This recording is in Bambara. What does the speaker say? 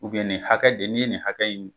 nin hakɛ de n'i ye nin hakɛ in